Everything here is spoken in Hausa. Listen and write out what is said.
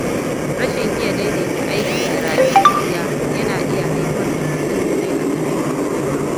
Rashin iya daidaita aiki da rayuwar gida yana iya haifar da matsaloli a zamantakewa.